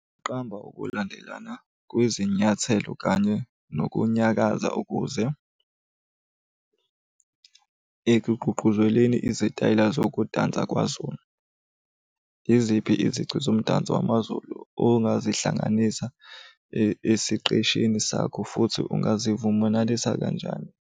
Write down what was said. Qamba ukulandelana kwezinyathelo kanye nokunyakaza ukuze, ekugqugquzeleni izitayela zokudansa kwaZulu. Yiziphi izici zomdanso wamaZulu ongazihlanganisa esiqeshini sakho futhi ungazivumenalisa kanjani.